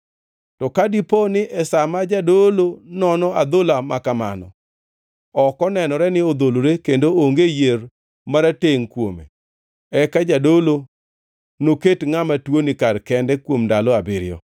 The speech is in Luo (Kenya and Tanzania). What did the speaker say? To ka dipo ni e sa ma jadolo nono adhola makamano, ok onenore ni odholore kendo onge yier maratengʼ kuome, eka jadolo noket ngʼama tuoni kar kende kuom ndalo abiriyo.